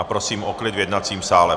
A prosím o klid v jednacím sále!